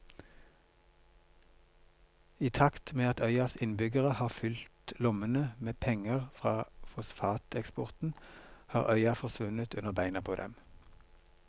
I takt med at øyas innbyggere har fylt lommene med penger fra fosfateksporten har øya forsvunnet under beina på dem.